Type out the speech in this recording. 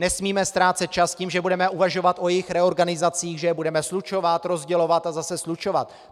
Nesmíme ztrácet čas tím, že budeme uvažovat o jejich reorganizacích, že je budeme slučovat, rozdělovat a zase slučovat.